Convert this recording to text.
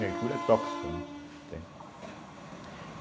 Mercúrio é tóxico, né, entende